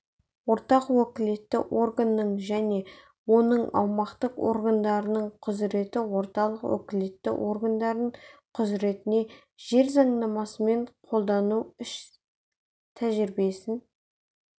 орталық уәкілетті органның және оның аумақтық органдарының құзыреті орталық уәкілетті органның құзыретіне жер заңнамасын қолдану іс-тәжірибесін